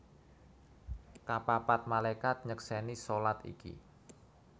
Kapapat Malaikat nyeksèni shalat iki